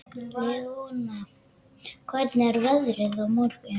Leona, hvernig er veðrið á morgun?